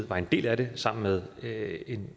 var en del af sammen med